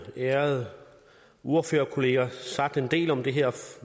ærede ordførerkolleger sagt en del om det her